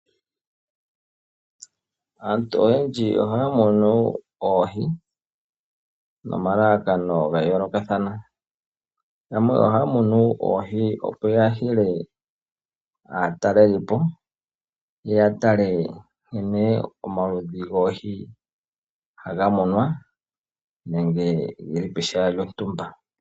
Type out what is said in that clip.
Aantu oyendji ohaya munu oohi naalandi ga yoolokathana, yamwe ohaya munu oohi opo yahile aatalelipo, ya tale nkene omaludhi goohi haga munwa nenge geli pehala lyontumba.